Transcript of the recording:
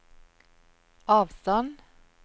avstand